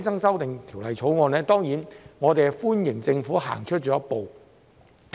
就《條例草案》，我們當然歡迎政府走出了一步。